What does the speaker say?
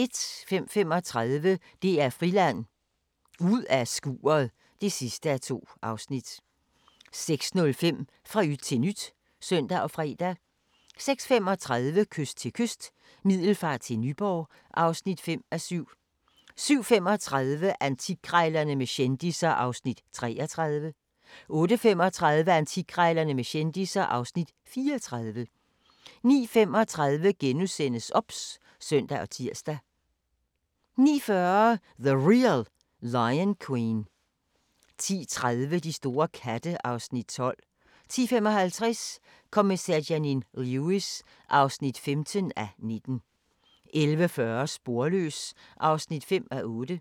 05:35: DR Friland: Ud af skuret (2:2) 06:05: Fra yt til nyt (søn og fre) 06:35: Kyst til kyst – Middelfart til Nyborg (5:7) 07:35: Antikkrejlerne med kendisser (Afs. 33) 08:35: Antikkrejlerne med kendisser (Afs. 34) 09:35: OBS *(søn og tir) 09:40: The Real Lion Queen 10:30: De store katte (Afs. 12) 10:55: Kommissær Janine Lewis (15:19) 11:40: Sporløs (5:8)